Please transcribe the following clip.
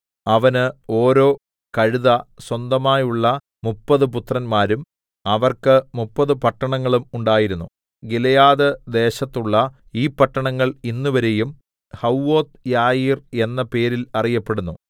അവന് ഓരോ കഴുത സ്വന്തമായുള്ള മുപ്പത് പുത്രന്മാരും അവർക്ക് മുപ്പത് പട്ടണങ്ങളും ഉണ്ടായിരുന്നു ഗിലെയാദ്‌ദേശത്തുള്ള ഈ പട്ടണങ്ങൾ ഇന്നുവരെയും ഹവ്വോത്ത്യായീർ എന്ന പേരിൽ അറിയപ്പെടുന്നു